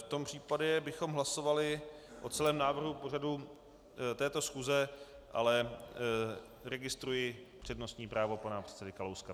V tom případě bychom hlasovali o celém návrhu pořadu této schůze - ale registruji přednostní právo pana předsedy Kalouska.